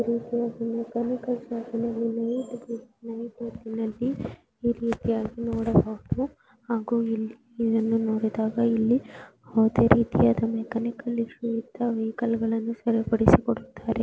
ನೋಡಬಹುದು ಹಾಗೂ ಇಲ್ಲಿ ಇದನ್ನು ನೋಡಿದಾಗ ಇಲ್ಲಿ ಯಾವುದೇ ರೀತಿಯ ಮೆಕ್ಯಾನಿಕ್ ಇಶ್ಯೂ ಇದ್ದಾರೆ ವೆಹಿಕಲ್ ಗಳನ್ನೂ ಸರಿಪಡಿಸಿಕೊಡುತ್ತಾರೆ.